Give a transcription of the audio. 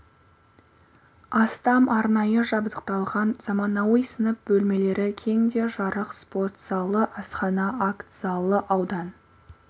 астам арнайы жабдықталған заманауи сынып бөлмелері кең де жарық спорт залы асхана акт залы аудан